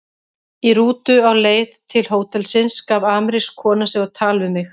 Í rútu á leið til hótelsins gaf amerísk kona sig á tal við mig.